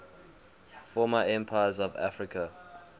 former empires of africa